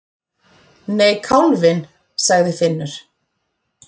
Nei, kálfinn, sagði Finnur.